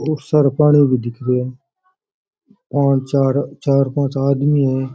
और सारे पाणी भी दिखे है पांच चार चार पांच आदमी भी है।